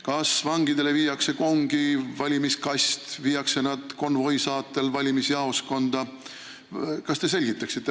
Kas vangidele viiakse kongi valimiskast või viiakse nad konvoi saatel valimisjaoskonda?